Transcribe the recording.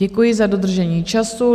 Děkuji za dodržení času.